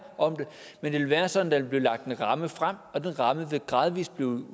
om det men det vil være sådan at der vil blive lagt en ramme frem og den ramme vil gradvist blive